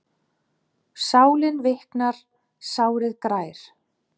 Sálin viknar, sárið grær.